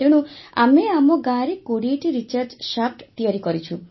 ତେଣୁ ଆମେ ଆମ ଗାଁରେ ୨୦ଟି ରିଚାର୍ଜ ଶାଫ୍ଟ ତିଆରି କରିଛୁ